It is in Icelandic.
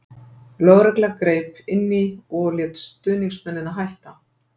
Lögregla grip inní og lét stuðningsmennina hætta.